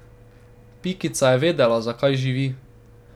Pikica je vedela, zakaj živi.